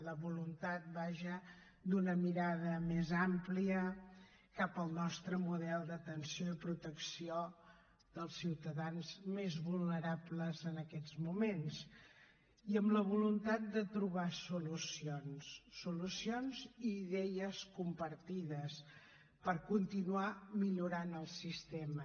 la voluntat vaja d’una mirada més àmplia cap al nostre model d’atenció i protecció dels ciutadans més vulnerables en aquests moments i amb la voluntat de trobar solucions solucions i idees compartides per continuar millorant el sistema